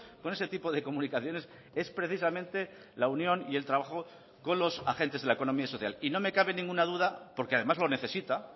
con ese tipo de comunicaciones es precisamente la unión y el trabajo con los agentes de la economía social y no me cabe ninguna duda porque además lo necesita